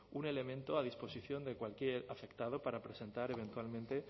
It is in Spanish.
un elemento a disposición de cualquier afectado para presentar eventualmente